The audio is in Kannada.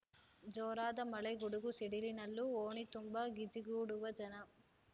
ಜೋರಾದ ಮಳೆ ಗುಡುಗು ಸಿಡಿಲಿನಲ್ಲೂ ಓಣಿತುಂಬಾ ಗಿಜಿಗೂಡುವ ಜನ